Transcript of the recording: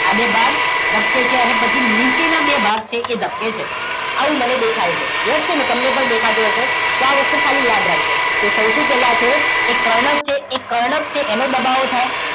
આ બે ભાગ ધબકે છે અને પછી નીચે ના બે ભાગ છે એ ધબકે છે આવું મને દેખાય છે યેસ કે નો? તમને પણ દેખાતું હશે આ વસ્તુ ખાલી યાદ રાખજો કે સૌથી પેલા તે કર્ણકછે એ કર્ણક છે એનો દબાવો થાય